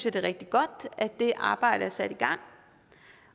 at det er rigtig godt at det arbejde er sat i gang